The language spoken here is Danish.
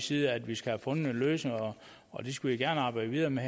side at vi skal have fundet en løsning og det skulle vi gerne arbejde videre med